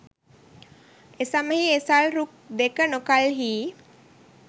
එසමයෙහි ඒ සල් රුක් දෙක නොකල්හී